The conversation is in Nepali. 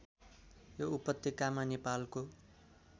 यो उपत्यकामा नेपालको